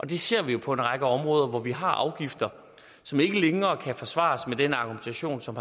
det ser vi jo på en række områder hvor vi har afgifter som ikke længere kan forsvares med den argumentation som